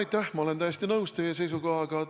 Jaa, ma olen täiesti nõus teie seisukohaga.